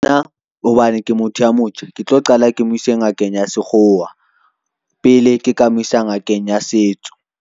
Hobane ke motho ya motjha, ke tlo qala ke mo ise ngakeng ya sekgowa pele, ke ka mo isa ngakeng ya setso.